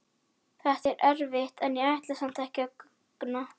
Þetta er erfitt en ég ætla samt ekki að guggna.